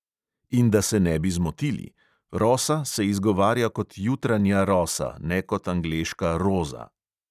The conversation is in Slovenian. In da se ne bi zmotili: rosa se izgovarja kot jutranja rosa, ne kot angleška roza.